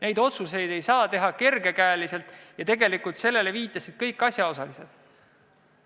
Neid otsuseid ei saa teha kergekäeliselt ja sellele viitasid kõik asjaosalised.